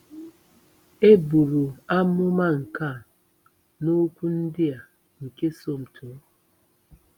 E buru amụma nke a n'okwu ndị a nke Somto.